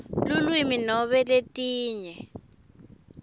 lulwimi nobe letinye